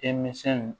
Denmisɛnw